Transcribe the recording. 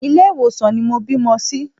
Ilé ìwòsàn ni mo bímọ sí.